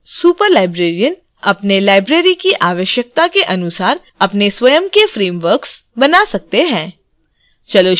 superlibrarian अपने libraries की आवश्यकता के अनुसार अपने स्वयं के frameworks बना सकते हैं